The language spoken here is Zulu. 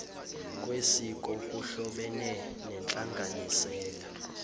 kwesiko kuhlobene nenhlanganisela